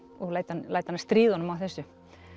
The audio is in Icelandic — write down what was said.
og læt hana læt hana stríða honum á þessu